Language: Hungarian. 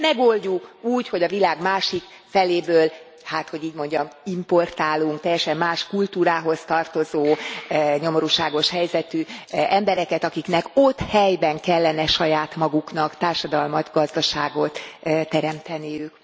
Megoldjuk úgy, hogy a világ másik feléből hát, hogy így mondjam importálunk teljesen más kultúrához tartozó, nyomorúságos helyzetű embereket, akiknek ott, helyben kellene saját maguknak társadalmat, gazdaságot teremteniük.